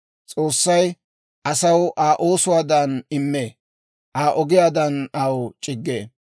S'oossay asaw Aa oosuwaadan immee; aa ogiyaadan aw c'iggee.